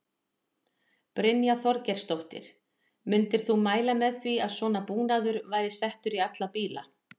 Brynja Þorgeirsdóttir: Myndir þú mæla með því að svona búnaður væri settur í alla bíla?